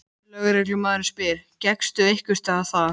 Lögreglumaðurinn spyr: Gekkstu einhversstaðar þar?